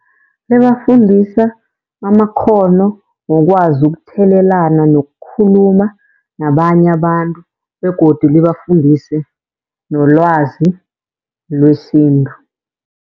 Libafundisa amakghono wokwazi ukuthelelana nokukhuluma nabanye abantu begodu libafundise nolwazi lwesintu.